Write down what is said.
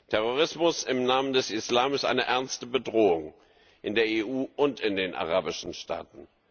Terrorismus im Namen des Islams ist eine ernste Bedrohung, in der EU und in den arabischen Staaten.